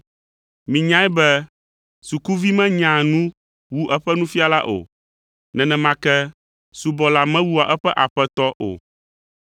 Minyae be sukuvi menyaa nu wu eƒe nufiala o. Nenema ke subɔla mewua eƒe aƒetɔ o.